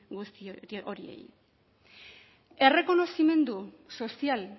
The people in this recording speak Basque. guzti horiei errekonozimendu sozial